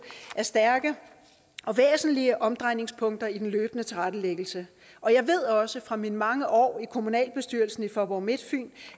er stærke og væsentlige omdrejningspunkter i den løbende tilrettelæggelse og jeg ved også fra mine mange år i kommunalbestyrelsen i faaborg midtfyn